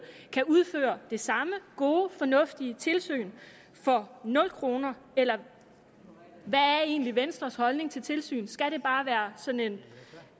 kan udføre det samme gode fornuftige tilsyn for nul kroner eller hvad er egentlig venstres holdning til tilsyn skal det bare være sådan